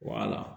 Wala